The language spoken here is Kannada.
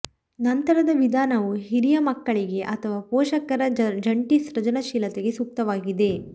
ನಂತರದ ವಿಧಾನವು ಹಿರಿಯ ಮಕ್ಕಳಿಗೆ ಅಥವಾ ಪೋಷಕರ ಜಂಟಿ ಸೃಜನಶೀಲತೆಗೆ ಸೂಕ್ತವಾಗಿದೆ